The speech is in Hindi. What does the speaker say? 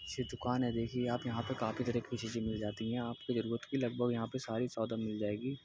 ये दुकान हैं देखिये आप यहाँ पर काफी तरह की चीजे मिल जाती हैं। आप के जरूरत की लगभग सारी सौदा मिल जाएगी।